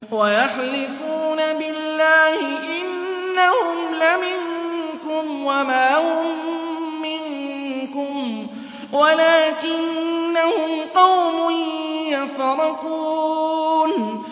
وَيَحْلِفُونَ بِاللَّهِ إِنَّهُمْ لَمِنكُمْ وَمَا هُم مِّنكُمْ وَلَٰكِنَّهُمْ قَوْمٌ يَفْرَقُونَ